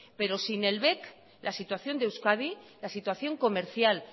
pero sin el bec la situación de euskadi la situación comercial